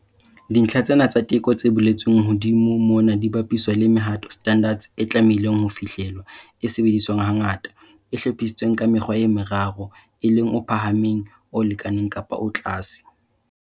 Dintlha tsena tsa teko tse boletsweng hodimo mona di bapiswa le mehato, standards, e tlamehileng ho fihlellwa, e sebediswang hangata, e hlophisitsweng ka mekgwa e meraro, e leng o phahameng, o lekaneng kapa o tlase.